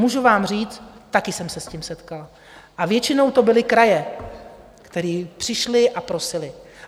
Můžu vám říct, také jsem se s tím setkala, a většinou to byly kraje, které přišly a prosily.